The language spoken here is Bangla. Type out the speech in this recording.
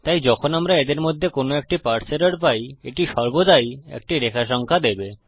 তাই যখন আমরা এদের মধ্যে কোনো একটি পারসে এরর পাই এটি সর্বদাই একটি রেখা সংখ্যা দেবে